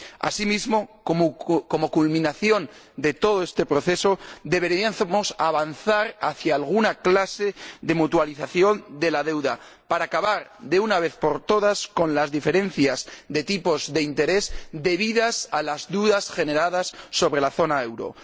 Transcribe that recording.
Asimismo, como culminación de todo este proceso, deberíamos avanzar hacia alguna clase de mutualización de la deuda, para acabar, de una vez por todas, con las diferencias de tipos de interés debidas a las dudas generadas sobre la zona euro.